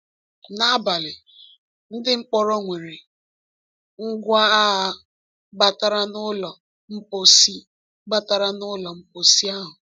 N’abalị, ndị mkpọrọ nwere ngwa agha batara n’ụlọ mposi batara n’ụlọ mposi ahụ.